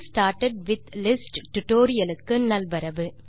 getting started with lists tutorial க்கு நல்வரவு